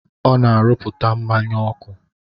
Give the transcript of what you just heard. Ọ na-arụpụta mmanya ọkụ.